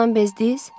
Ondan bezdiz?